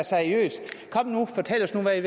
seriøst kom nu fortæl os nu hvad